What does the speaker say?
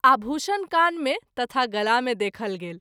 आभूषण कान मे तथा गला मे देखल गेल।